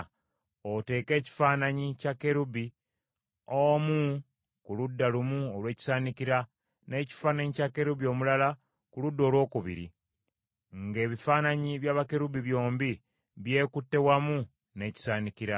Oteeke ekifaananyi kya kerubi omu ku ludda lumu olw’ekisaanikira, n’ekifaananyi kya kerubi omulala ku ludda olwokubiri, nga ebifaananyi bya bakerubi byombi byekutte wamu n’ekisaanikira.